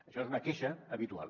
això és una queixa habitual